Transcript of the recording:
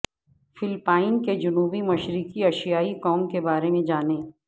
Philippines کے جنوب مشرقی ایشیائی قوم کے بارے میں جانیں